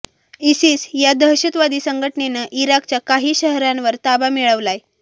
ISIS या दहशतवादी संघटनेनं इराकच्या काही शहरांवर ताबा मिळवलाय